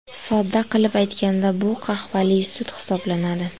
Sodda qilib aytganda, bu qahvali sut hisoblanadi.